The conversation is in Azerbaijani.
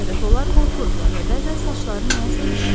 Təkcə onlar qorxurdular və bəzən saçları nəyəsə ilişirdi.